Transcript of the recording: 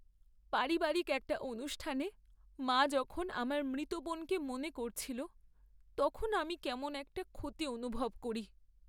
পারিবারিক একটা অনুষ্ঠানে মা যখন আমার মৃত বোনকে মনে করছিল, তখন আমি কেমন একটা ক্ষতি অনুভব করি।